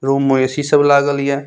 Room में AC. सब लागल ये।